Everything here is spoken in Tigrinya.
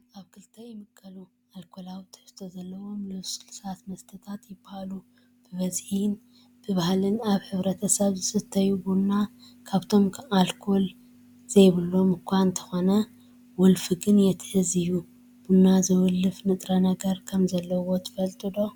መስተታት ኣብ ክልተ ይምቀሉ፡፡ ኣልኮላዊ ትሕዝቶ ዘለዎምን ልስሉሳት መስተታትን ይባሃሉ፡፡ ብበዝሒን ብባህሊን ኣብ ሕብረተሰብ ዝስተይ ቡና፣ ካብቶም ኣልኮል ዘይብሎም እኳ እንተኾነ ወልፊ ግን የትሕዝ እዩ፡፡ ቡና ዘወልፍ ንጥረነገር ከምዘለዎ ትፈልጡ ዶ?